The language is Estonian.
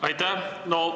Aitäh!